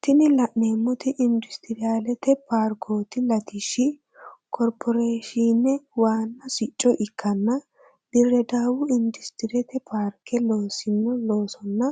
Tini la'neemoti industriyalete parkooti latishshi korporeeshine wana siccose ikkanna diredawu industriyalete parke loosino loosonna